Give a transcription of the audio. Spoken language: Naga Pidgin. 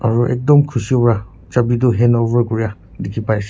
Aro ektum khushe bra jabe tu hand over kurea dekhe pai she--